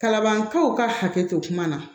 Kalabanko ka hakɛ to kuma na